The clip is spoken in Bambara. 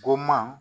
Ko ma